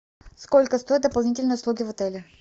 сколько стоят дополнительные услуги в отеле